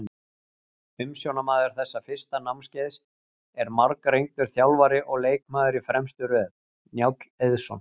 Umsjónarmaður þessa fyrsta námskeiðs er margreyndur þjálfari og leikmaður í fremstu röð, Njáll Eiðsson.